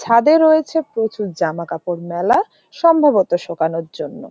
ছাদে রয়েছে প্রচুর জামাকাপড় মেলা সম্ভবত শোকানোর জন্য।